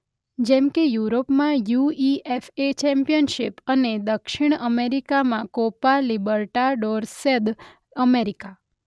જેમકે યુરોપમાં UEFA championship અને દક્ષિણ અમેરિકામાં કોપા લિબર્ટાડોર્સ દ અમેરિકા.